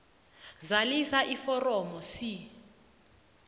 zalisa iforomo c